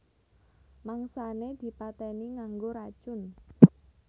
Mangsané dipatèni nganggo racun